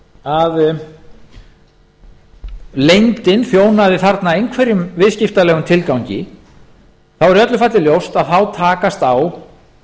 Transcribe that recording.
að leyndin þjónaði þarna einhverjum viðskiptalegum tilgangi er í öllu falli ljóst að þá takast á